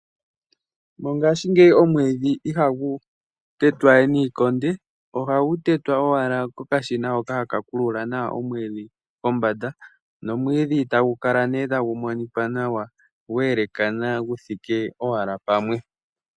Mongaashingeyi omwiidhi ihagu tetwa we niikonde ,ohagu tetwa owala kokashina hoka haka pulula omwiidhi kombaanda nomumwiidhi tagu kala nee tagu monika nawa gwa elekana guthike owala pamwe.